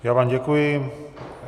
Já vám děkuji.